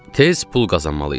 Tez pul qazanmalıydıq.